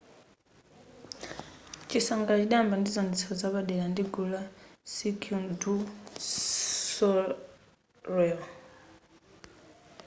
zisangalalo zidayamba ndi chiwonetsero chapadera ndi gulu la cirquel du soleil